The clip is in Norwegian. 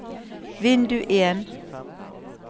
vindu en